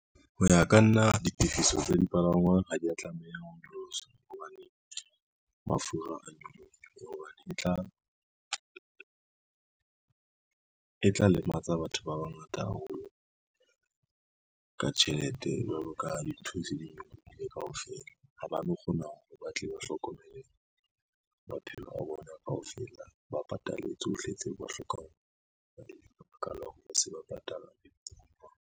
Ho ya ka nna, ditefiso tsa dipalangwang ha dia tlameha ho nyoloswa hobane mafura a nyoloha hobane, e tla lematsa batho ba bangata haholo ka tjhelete. Jwalo ka ha dintho di se di nyolohile kaofela ha ba no kgona hore ba tle ba hlokomele maphelo a bona kaofela, ba patale tsohle tseo ba hlokang ka baka .